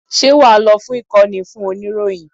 Ṣé wà á lọ fún ìkọ́ni fún oníròyìn?